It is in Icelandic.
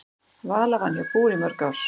Vala vann hjá BÚR í mörg ár.